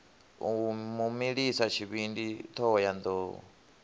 u mu milisa tshivhindi thohoyanḓ